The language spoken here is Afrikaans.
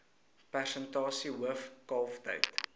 persentasie hoof kalftyd